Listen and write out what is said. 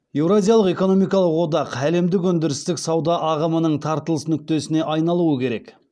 еуразиялық экономикалық одақ әлемдік өндірістік сауда ағымының тартылыс нүктесіне айналуы керек